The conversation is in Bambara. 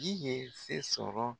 Ji ye se sɔrɔ